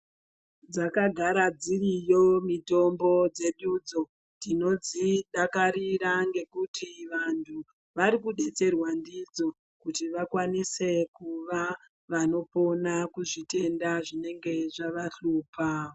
Dzakagara dziriyo mutombo dzedu dzo tinodzidakarira ngekuti vantu varikudetserwa ndidzo kuti vakwanise kuva vanopona kuzvitenda zvinenge zvavahlupa